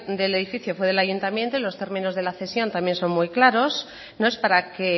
del edificio fue del ayuntamiento y los términos de la cesión también son muy claros no es para que